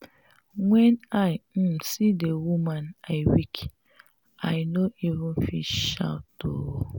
when i um see the woman i weak. i no even fit shout. um